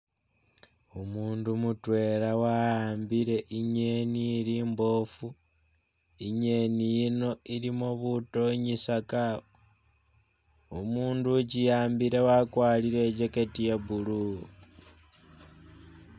Umundu mutwela wa'ambile i'ngeni ili mboofu I'ngeni yino ilimo butonyisaka, umundu ukiwambile wakwalire i'jacket ya blue